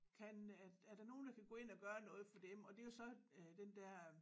Kan er er der nogen der kan gå ind og gøre noget for dem og det jo så øh den der